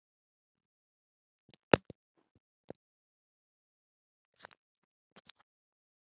Þá var okkar kona stolt.